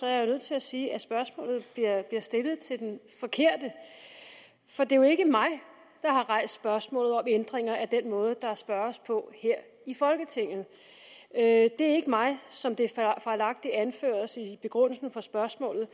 jeg nødt til at sige at spørgsmålet bliver stillet til den forkerte for det er jo ikke mig der har rejst spørgsmålet om ændringer af den måde der spørges på her i folketinget det er ikke mig som det fejlagtigt anføres i begrundelsen for spørgsmålet